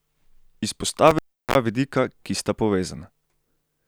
Izpostavil bi dva vidika, ki sta povezana.